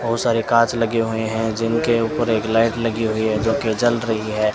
बहुत सारे कांच लगे हुए हैं जिनके ऊपर एक लाइट लगी हुई है जोकि जल रही है।